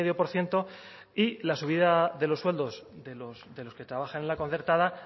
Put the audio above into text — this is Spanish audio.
por ciento y la subida de los sueldos de los que trabajan en la concertada